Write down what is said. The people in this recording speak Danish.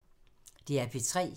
DR P3